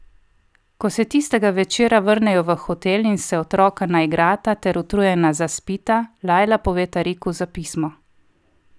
Ko se tistega večera vrnejo v hotel in se otroka naigrata ter utrujena zaspita, Lajla pove Tariku za pismo.